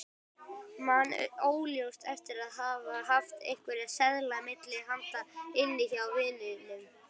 Man óljóst eftir að hafa haft einhverja seðla milli handa inni hjá vininum.